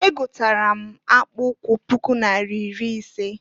Egotara m akpụụkwụ puku naira iri ise.